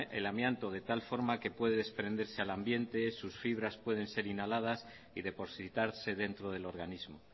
el amianto de tal forma que puede desprenderse al ambiente sus fibras pueden ser inhaladas y depositarse dentro del organismo